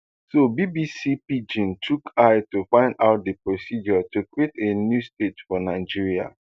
so bbc pidgin chook eye to find out di procedure to create a new state for nigeria